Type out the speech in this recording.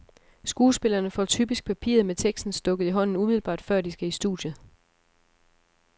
Skuespillerne får typisk papiret med teksten stukket i hånden umiddelbart før, de skal i studiet.